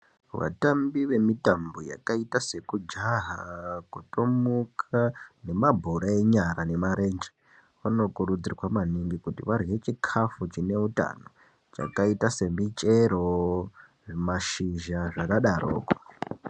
Vatambi vemitambo yakaita sekujaha kutomuka nemabhora enyara neemarenje vanokurudzirwa maningi kuti varye chikafu chine hutano chakaita semichero nemashizha zvakadaroko.